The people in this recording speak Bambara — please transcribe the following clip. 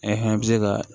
E fana bɛ se ka